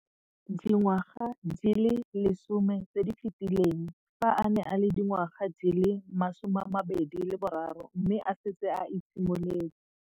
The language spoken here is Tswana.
Dingwaga di le 10 tse di fetileng, fa a ne a le dingwaga di le 23 mme a setse a itshimoletse.